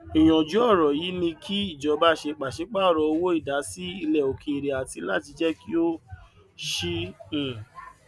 ìyànjú ọrọ yìí ni kí ìjọba ṣe pàṣípàrọ owó ìdásí ilẹ òkèèrè àti láti jẹ kí ó ṣeé um